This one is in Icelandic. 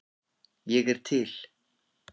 Ég er til